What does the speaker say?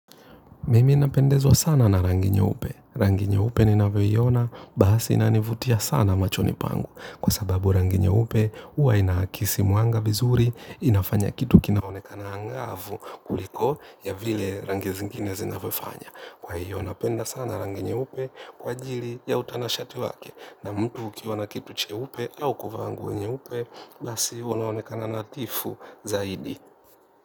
Mimi napendezwa sana na rangi nyeupe. Rangi nyeupe ninavyiona, basi inanivutia sana machoni pangu. Kwa sababu rangi nyeupe, huwa inaakisi mwanga vizuri, inafanya kitu kinaonekana angavu kuliko ya vile rangi zingine zinavyofanya. Kwa hiyo, napenda sana rangi nyeupe kwa ajili ya utanashati wake. Na mtu ukiwa na kitu cheupe au kuvaa nguo nyeupe, basi unaonekana nathifu zaidi.